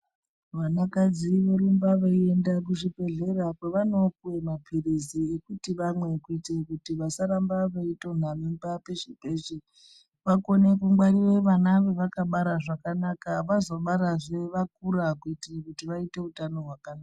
Vanakadzi vorumba veienda kuzvibhedhlera kwavanopiwa maphirizi ekuti vamwe kuitira kuti vasarambe veitonha mimba peshe peshe. Vakone kungwarira vana vavakabara zvakanaka, vazobarazve vakura kuitira kuti vaite utano hwakanaka.